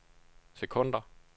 sekunder